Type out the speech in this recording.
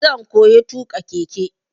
Zan koya tuƙa keke.